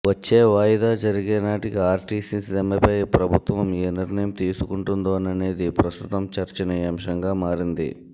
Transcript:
వచ్చే వాయిదా జరిగే నాటికి ఆర్టీసీ సమ్మెపై ప్రభుత్వం ఏ నిర్ణయం తీసుకొంటుందోననేది ప్రస్తుతం చర్చనీయాంశంగా మారింది